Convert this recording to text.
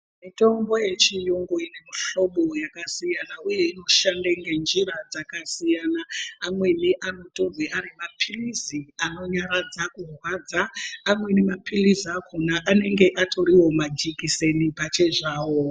Mitombo yechiyungu ine mihlobo yakasiyana uye inoshanda nenjira dzakasiyana amweni anotorwe ari mapilizi anonyaradza kurwadza, amweni mapilizi akona anenge atoriwo majekiseni pachezvawo.